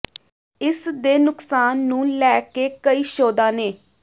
ਇਸ ਦੇ ਨੁਕਸਾਨ ਨੂੰ ਲੈ ਕੇ ਕਈ ਸ਼ੋਧਾਂ ਨੇ